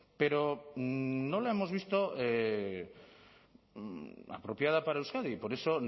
pero no la hemos visto apropiada para euskadi y por eso